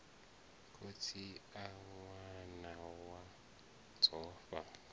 khotsi a ṅwana wa dzofha